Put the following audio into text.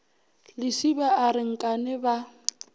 lesiba a re nkane ba